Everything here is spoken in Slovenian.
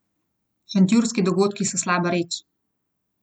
Šentjurski dogodki so slaba reč.